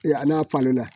A n'a falenna